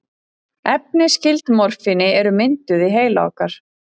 Efni skyld morfíni eru mynduð í heila okkar.